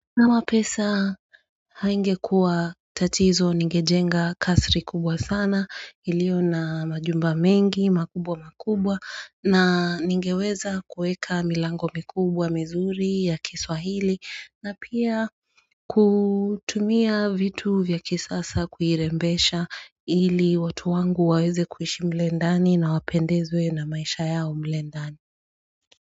Kama pesa haingekua tatizo nigejenga kasiri kubwa sana ilio na majumba mengi makubwa makubwa na nigeweza kuweka milango mikubwa mizuri ya kiswahili na pia kutumia vitu vya kisasa kuirembesha ili watu wangu waweze kuishi mule ndani na wapendezwe na maisha yao mule ndani.